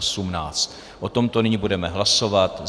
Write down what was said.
O tomto nyní budeme hlasovat.